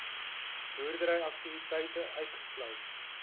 boerdery aktiwiteite uitgesluit